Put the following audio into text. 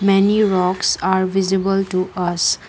many rocks are visible to us.